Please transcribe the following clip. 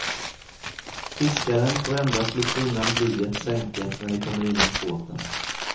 Fiskaren får endast lyfta undan blyet sänket när det kommer in mot båten.